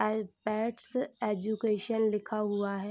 IPEDS education लिखा हुआ है।